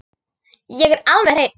Hann er alveg hreinn.